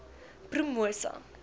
promosa